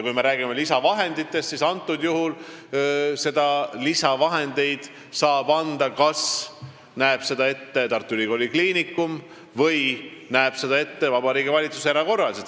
Kui me räägime lisavahenditest, siis lisavahendeid näeb ette kas Tartu Ülikooli Kliinikum või teeb seda Vabariigi Valitsus erakorraliselt.